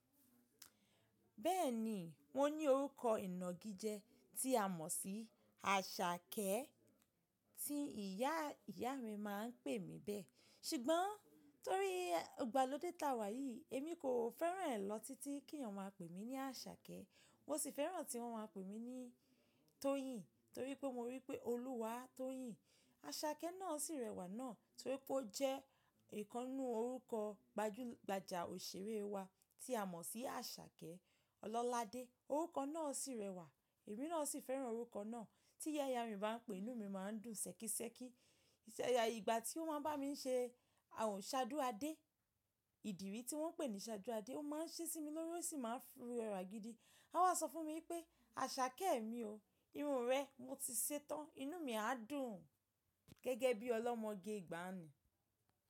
Bẹ́ẹ̀ni mo ní orúkọ ìnagijẹ tí a mọ̀ sí Àṣàkẹ́ tí ìyá ìyá mi máa ń pè mí bẹ́ẹ̀. Ṣùgbọ́n torí igbàlódé ta wà yìí èmi kò fẹ́ràn rẹ̀ lọ títí kí èèyàn máa pè mí ní Àṣàkẹ́. Mo sì fẹ́ràn tí wọ́n máa pè mí ní Tóyìn torí pé mo rí pé Olúwa tóyìn. Àṣàkẹ́ náà sì rẹwà náà torí pé ó jẹ́ ìkannú orúkọ gbajúgbajà òṣèré wa tí a mọ̀ sí Àṣàkẹ́ Ọlọ́ládé. Orúkọ náà sì rẹwà, èmi náà sì fẹ́ràn orúkọ náà. Tí ìyá ìyá mi bá ń pe inú mi máa ń dùn ṣẹ̀kẹ̀ ṣẹ̀kẹ̀. Ìgbà tí ó máa ń bá mi ṣe àwọn ṣádú adé, ìdíìrí tí wọ́n pè ní ṣádú adé, ó máa ń ṣe sí mi lórí ó sì máa ń rẹwà gidi. A wá sọ fún mi pé Àṣàkẹ́ mi o irun rẹ mo ti ṣetán, inú mi á dùn gẹ́gẹ́ bí ọlọ́mọge ìgbàanu.